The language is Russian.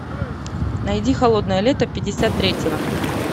найди холодное лето пятьдесят третьего